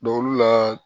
olu la